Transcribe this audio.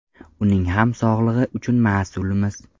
Uning ham sog‘lig‘i uchun mas’ulmiz.